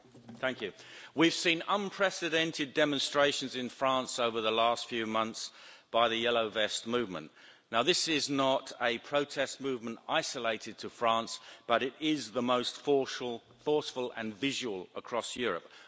Madam President, we have seen unprecedented demonstrations in France over the last few months by the yellow vest movement. Now this is not a protest movement isolated to France, but it is the most forceful and visual across Europe.